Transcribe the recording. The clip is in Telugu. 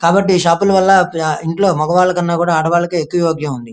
కాబట్టి షాప్ వల్ల ఇంట్లో మగ వారి కన్నా కూడా ఆడ వారికి ఎక్కువ యోగ్యం ఉంది.